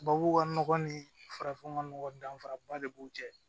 Tubabu ka nɔgɔ ni farafin ka nɔgɔ danfaraba de b'u cɛ